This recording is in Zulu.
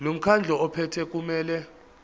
lomkhandlu ophethe kumele